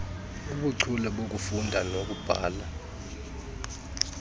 obuchule bokufunda nokubhala